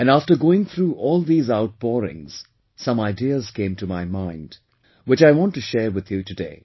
And after going through all these outpourings, some ideas came to my mind, which I want to share with you today